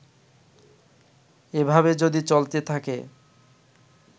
এভাবে যদি চলতে থাকে